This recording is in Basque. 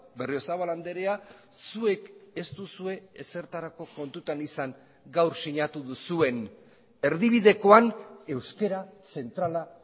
berriozabal andrea zuek ez duzue ezertarako kontutan izan gaur sinatu duzuen erdibidekoan euskera zentrala